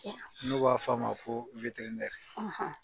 N'o b'a f'a ma ko